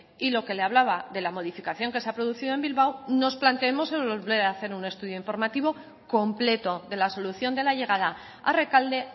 y lo que le hablaba de la modificación que se ha producido en bilbao nos planteemos el volver a hacer un estudio informativo completo de la solución de la llegada a rekalde